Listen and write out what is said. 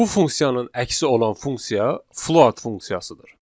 Bu funksiyanın əksi olan funksiya float funksiyasıdır.